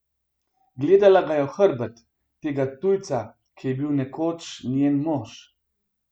Gledala ga je v hrbet, tega tujca, ki je bil nekoč njen mož.